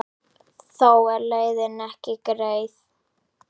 Þó er leiðin ekki greið.